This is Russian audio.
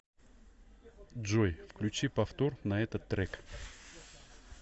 джой включи повтор на этот трек